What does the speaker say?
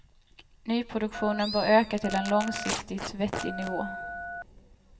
Nyproduktionen bör öka till en långsiktigt vettig nivå.